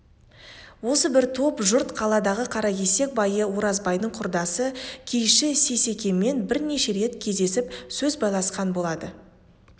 осы бір топ жұрт қаладағы қаракесек байы оразбайдың құдасы киізші сейсекемен бірнеше рет кездесіп сөз байласқан болады